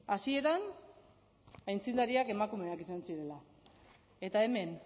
hasieran aitzindariak emakumeak izan zirela eta hemen